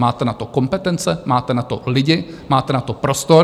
Máte na to kompetence, máte na to lidi, máte na to prostor.